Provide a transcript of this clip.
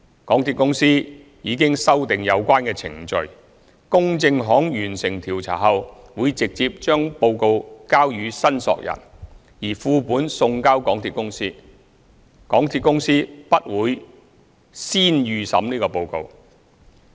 港鐵公司已修訂有關程序，公證行完成調查後會直接將報告交予申索人，而副本送交港鐵公司，港鐵公司不會先預審報告。